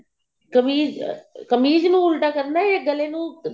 ਕਮੀਜ਼ ਕਮੀਜ਼ ਨੂੰ ਉਲਟਾ ਕਰਨਾ ਜਾਂ ਗਲੇ ਨੂੰ